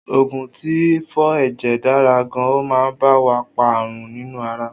Oògùn tí ń fọ ẹ̀jẹ̀ dára gan, ọ ma ba wa pa ààrùn nínú ara